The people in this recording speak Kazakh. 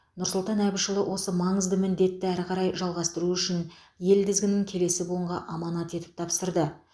нұрсұлтан әбішұлы осы маңызды міндетті әрі қарай жалғастыру үшін ел тізгінін келесі буынға аманат етіп тапсырды